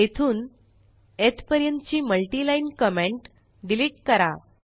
येथून येथपर्यंतची multiline comment delete करा